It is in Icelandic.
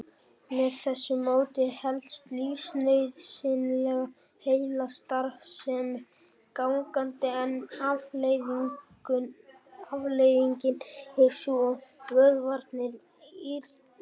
Með þessu móti helst lífsnauðsynleg heilastarfsemi gangandi en afleiðingin er sú að vöðvarnir rýrna.